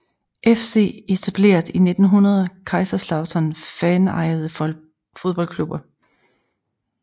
FC Etableret i 1900 Kaiserslautern Fanejede fodboldklubber